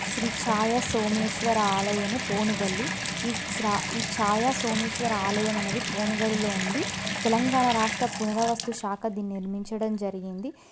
శ్రీ ఛాయ సోమేశ్వర ఆలయము పోనుగల్లు ఈ ఛాయ సోమేశ్వర ఆలయము అనేది పోనుగల్లులో ఉంది తెలంగాణ రాష్ట్ర పురావస్తు శాక దీన్ని నిర్మించడం జరిగింది.